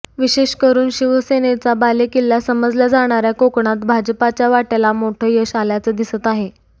विशेष करून शिवसेनेचा बालेकिल्ला समजल्या जाणाऱ्या कोकणात भाजपाच्या वाट्याला मोठं यश आल्याचं दिसत आहे